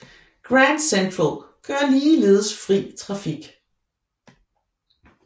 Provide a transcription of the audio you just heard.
Grand Central kører ligeledes fri trafik